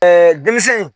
denmisɛn in